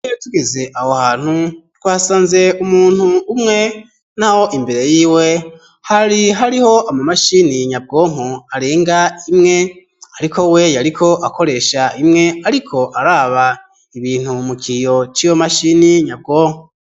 Iyo tugeze aho hantu twasanze umuntu umwe n'aho imbere yiwe hari hariho ama mashini nyabwonko arenga imwe ariko we yariko akoresha imwe ariko araba ibintu mukiyo c'iyo mashini nyabwoko.